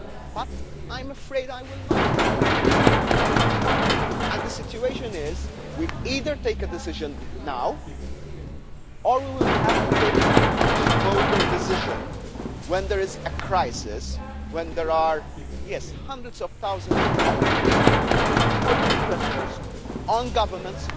But I'm afraid that I will not be wrong, and the situation is that we either take a decision now or we will have to take a much bolder decision when there is a crisis, and when there are hundreds of thousands of people putting pressure on governments,